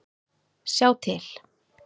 Sjá til